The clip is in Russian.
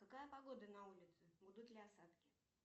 какая погода на улице будут ли осадки